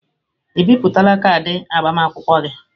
Ị bipụtala kaadị agbamakwụkwọ gị?